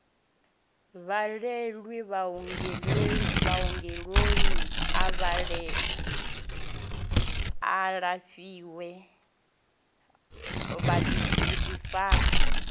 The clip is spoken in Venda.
bvalelwe vhuongeloni a lafhiwe vhuḓifari